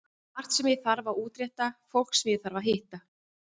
Margt sem ég þarf að útrétta, fólk sem ég þarf að hitta.